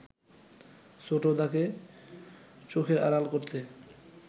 ছোটদাকে চোখের আড়াল করতে